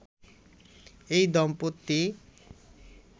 এই দম্পতি